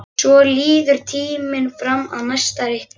Svo líður tíminn fram að næsta reikningi.